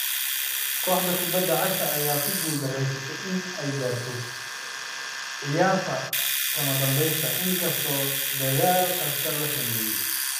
Kooxda kubadda cagta ayaa ku guuldareysatay inay gaarto ciyaarta kamadanbesta inkastoo dadaal kasta la sameeyay.